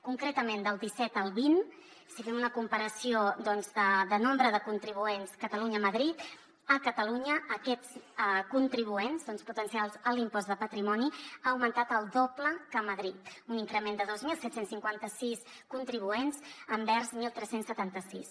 concretament del disset al vint si fem una comparació de nombre de contribuents catalunyamadrid a catalunya aquests contribuents potencials a l’impost de patrimoni han augmentat el doble que a madrid un increment de dos mil set cents i cinquanta sis contribuents respecte a tretze setanta sis